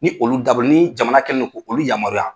Ni olu dabɔlen ni jamana kɛlen don k'olu yamaruya.